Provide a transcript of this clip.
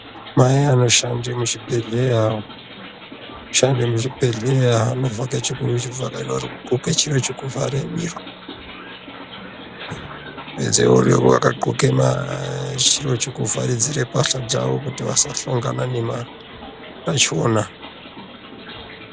Vaya vanoshande muchibhedhleya. Shande muzvibhedhleya vanodxoke chiro chekuvhare miro. Pedze voonekwa vakadxoke chiro cheku chekuvharidzire mbasha dzavo kuti vasahlongana nemautachiona.